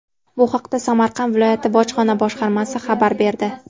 Bu haqda Samarqand viloyati bojxona boshqarmasi xabar berdi .